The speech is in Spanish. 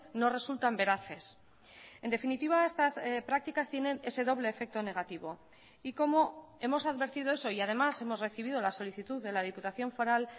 no resultan veraces en definitiva estas prácticas tienen ese doble efecto negativo y como hemos advertido eso y además hemos recibido la solicitud de la diputación foral